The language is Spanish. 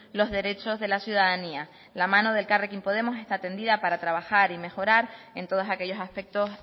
los derechos de la ciudadanía la mano de elkarrekin podemos está tendida para trabajar y mejorar en todos aquellos aspectos